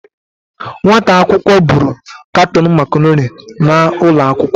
Nwata akwụkwọ buru katon macaroni laa ụlọ akwụkwọ.